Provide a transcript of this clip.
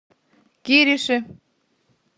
кириши